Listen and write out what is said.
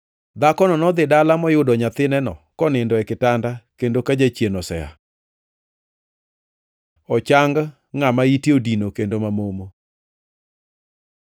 Dhakono nodhi dala moyudo nyathineno konindo e kitanda kendo ka jachien osea. Ochang ngʼama ite odino kendo mamomo